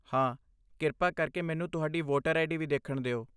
ਹਾਂ। ਕਿਰਪਾ ਕਰਕੇ ਮੈਨੂੰ ਤੁਹਾਡੀ ਵੋਟਰ ਆਈਡੀ ਵੀ ਦੇਖਣ ਦਿਓ।